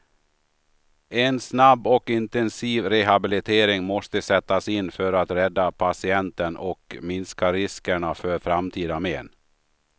En snabb och intensiv rehabilitering måste sättas in för att rädda patienten och minska riskerna för framtida men.